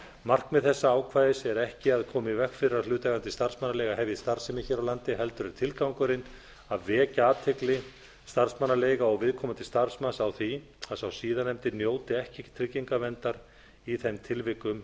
markmið þessa ákvæðis er ekki að koma í veg fyrir að hlutaðeigandi starfsmannaleiga hefji starfsemi hér á landi heldur er tilgangurinn að vekja athygli starfsmannaleiga og viðkomandi starfsmanns á því að sá síðarnefndi njóti ekki tryggingaverndar í þeim tilvikum ef